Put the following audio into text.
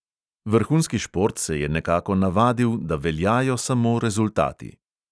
Vrhunski šport se je nekako navadil, da veljajo samo rezultati.